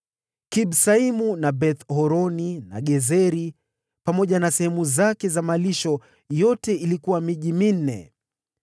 Kibsaimu na Beth-Horoni, pamoja na sehemu zake za malisho, ilikuwa miji minne.